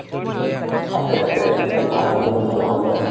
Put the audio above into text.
আছে আছে খালি ভাৰাতো অলপ বঢ়াল যে